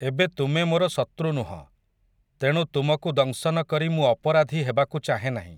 ଏବେ ତୁମେ ମୋର ଶତୃ ନୁହଁ, ତେଣୁ ତୁମକୁ ଦଂଶନ କରି ମୁଁ ଅପରାଧି ହେବାକୁ ଚାହେଁ ନାହିଁ ।